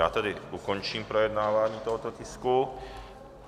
Já tedy končím projednávání tohoto tisku.